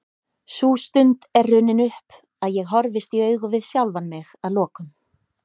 Sú stund er runnin upp að ég horfist í augu við sjálfan mig að lokum.